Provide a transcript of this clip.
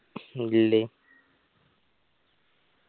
ഇല്ലേ